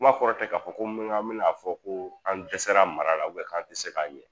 Kuma kɔrɔ tɛ k'a fɔ ko n be na an be n'a fɔ ko an dɛsɛra mara la ubiyɛn k'an te se k'a ɲɛ